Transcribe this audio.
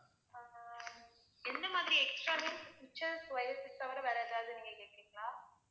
ஆஹ் எந்த மாதிரி extra switches, wires க்கு அப்பறம் வேற ஏதாவது நீங்க கேக்கறிங்களா?